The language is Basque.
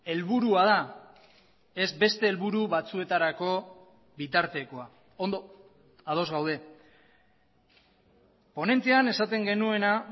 helburua da ez beste helburu batzuetarako bitartekoa ondo ados gaude ponentzian esaten genuena